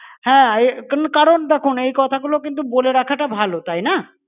হ্যাঁ এ~ কিন্তু কারণ দেখুন, এই কথাগুলো কিন্তু বলে রাখাটা ভালো, তাইনা?